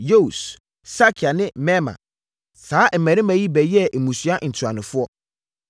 Yeus, Sakia ne Mirma. Saa mmammarima yi bɛyɛɛ mmusua ntuanofoɔ.